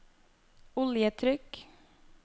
oljetrykk